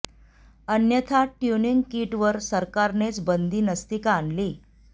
अन्यथा tuning kit वर सरकारनेच बंदी नसती का आणली